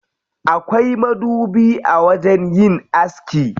Akwai madubi a wajen yin aski.